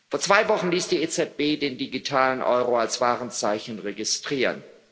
Vor zwei Wochen ließ die EZB den digitalen Euro als Warenzeichen registrieren.